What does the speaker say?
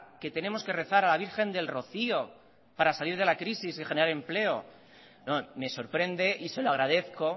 que tenemos que rezar a la virgen del rocío para salir de la crisis y generar empleo no me sorprende y se lo agradezco